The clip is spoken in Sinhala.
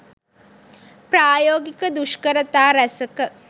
ප්‍රායෝගික දුෂ්කරතා රැසක